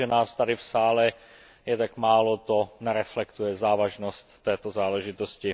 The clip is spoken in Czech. To, že nás tady v sále je tak málo, nereflektuje závažnost této záležitosti.